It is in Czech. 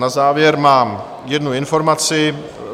Na závěr mám jednu informaci.